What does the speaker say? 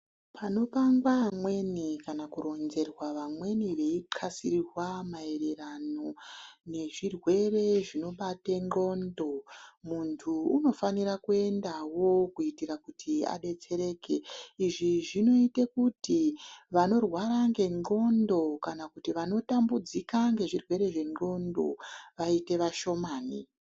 Panopangwa vamweni kana kuronzerwa vamweni veipasirwa mayererano nezvirwere zvinobate ndxondo, muntu unofanira kuendawo kuitira kuti adetsereke. Izvi zvinoite kuti vanorwara ngendxondo kana kuti vanotambudzika nezvirwere zvendxondo vaite vashomani.